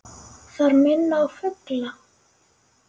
Þær minna á fugla.